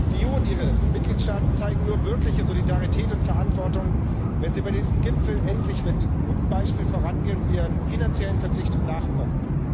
Die EU und ihre Mitgliedstaaten zeigen nur wirkliche Solidarität und Verantwortung, wenn sie bei diesem Gipfel endlich mit gutem Beispiel vorangehen und ihren finanziellen Verpflichtungen nachkommen.